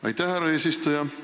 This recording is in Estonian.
Aitäh, härra eesistuja!